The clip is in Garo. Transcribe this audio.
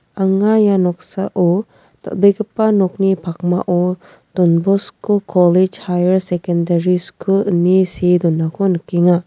anga ia noksao dal·begipa nokni pakmao don bosko kolech haiyar sekendari skul ine see donako nikenga.